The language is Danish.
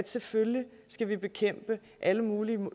selvfølgelig skal vi bekæmpe alle mulige